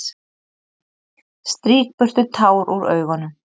Strýk burtu tár úr augunum.